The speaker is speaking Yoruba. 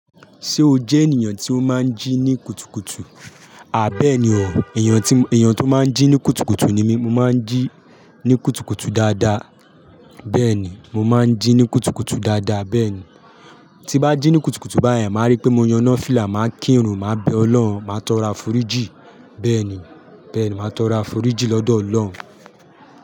Ṣé o jẹ ènìyàn tí ó máa ń jí ní kùtùkùtù? À bẹ́ni o, èeyàn tí, èeyàn tó máa ń jí ní kùtùkùtù ni mí. Mo máa ń jí ní kùtùkùtù dáadáa. Bẹ́ẹ̀ni, mo máa ń jí ní kùtùkùtù dáadáa, bẹ́ẹ̀ni. Tí m bá jí ní kùtùkùtù báyìí, màá rí pé mo yaná fìlà, màá kírun, màá bẹ ọlọ́run, màá tọrọ àforíjì. Bẹ́ẹ̀ni, bẹ́ẹ̀ni, màá tọrọ àforíjì lọ́dọ̀ Ọlọ́run.